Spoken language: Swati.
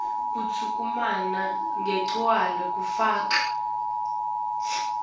tekuchumana letigcwele kufaka